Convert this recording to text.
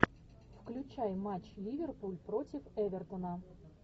включай матч ливерпуль против эвертона